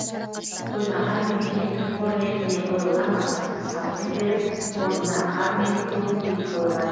қоймаға мемлекеттік қор ретінде қойылған астықты сатып жіберіп орнына қар мен көң үйіп қойған